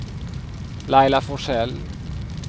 Laila Forsell